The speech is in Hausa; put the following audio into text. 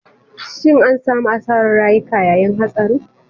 Shin an samu asarar rayuka yayin hatsarin.